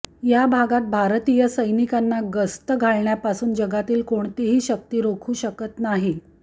या भागात भारतीय सैनिकांना गस्त घालण्यापासून जगातील कोणतीही शक्ती रोखू शकत नाही